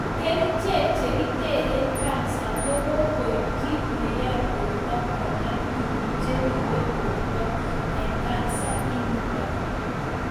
Kerichek chekiteren kansa ko kokoib kit neyoi borto konem tuguk che ribe borto en kansa initok